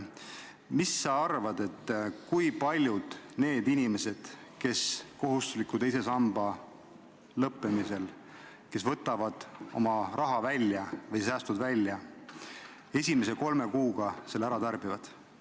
Mis sa arvad, kui paljud need inimesed, kes teise sambasse kohustusliku kogumise lõppemisel oma raha välja võtavad, esimese kolme kuuga selle ära tarbivad?